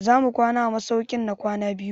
Za mu kwana a masaukin na kwana biyu?